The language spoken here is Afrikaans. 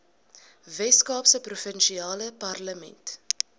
weskaapse provinsiale parlement